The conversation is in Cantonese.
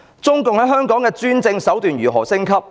中共在香港的專政手段如何升級？